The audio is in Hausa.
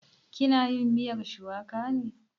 Ki na yin miyar shuwaka ne?